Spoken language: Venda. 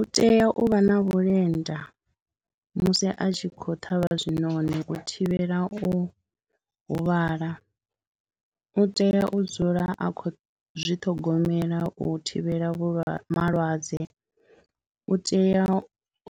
U tea u vha na vhulenda musi a tshi khou ṱhavha zwinoni u thivhela u huvhala, u tea u dzula a khou zwi ṱhogomela u thivhela vhu, malwadze, u tea